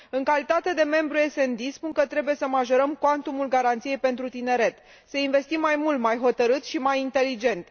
În calitate de membru SD, spun că trebuie să majorăm cuantumul garanției pentru tineret, să investim mai mult, mai hotărât și mai inteligent.